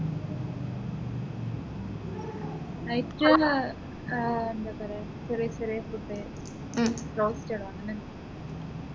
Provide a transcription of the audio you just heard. night ആഹ് ആഹ് എന്താ പറയുക ചെറിയ ചെറിയ food ദോശ അങ്ങനൊക്കെ